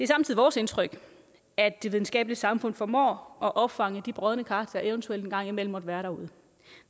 samtidig vores indtryk at de videnskabelige samfund formår at opfange de brodne kar der eventuelt en gang imellem måtte være derude og